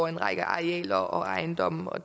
en række arealer og ejendomme og